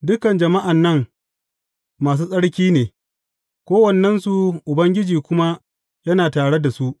Dukan jama’an nan masu tsarki ne, kowannensu, Ubangiji kuma yana tare da su.